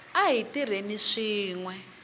a hi tirheni swin we